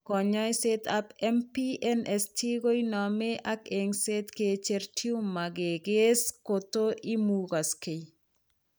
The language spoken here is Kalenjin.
Kanyoiseet ab MPNST koinome ak eng'seet kicher tumor kikees kotoimukaksee